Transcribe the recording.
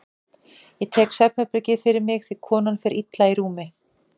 Ég tek svefnherbergið fyrir mig því konan fer illa í rúmi.